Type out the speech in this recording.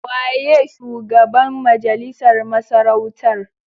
Waye shugaban majalisar masarautar?